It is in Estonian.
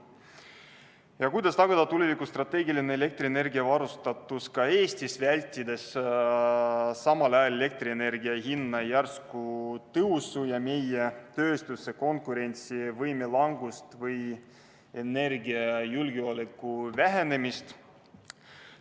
Meie küsime, kuidas tagada tulevikus strateegiline elektrienergiaga varustatus ka Eestis, vältides samal ajal elektrienergia hinna järsku tõusu ja meie tööstuse konkurentsivõime langust, samuti energiajulgeoleku vähenemist.